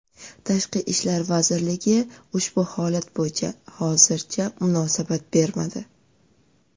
Tashqi ishlar vazirligi ushbu holat bo‘yicha hozircha munosabat bermadi.